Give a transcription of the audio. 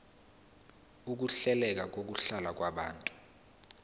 ukuhleleka kokuhlala kwabantu